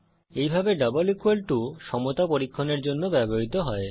এইভাবে double equal to সমতা পরীক্ষণের জন্য ব্যবহৃত হয়